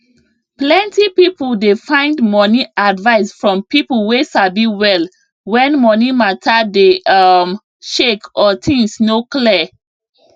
plenty people dey find money advice from people wey sabi well when money matter dey um shake or things no clear